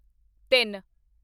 ਤਿੰਨ